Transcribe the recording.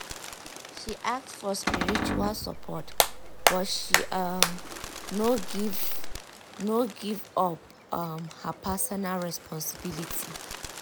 she ask for spiritual support but she um no give um no give up um her personal responsibility.